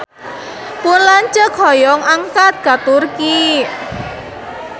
Pun lanceuk hoyong angkat ka Turki